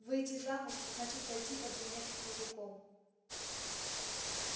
выйти замуж значит пойти под венец с мужиком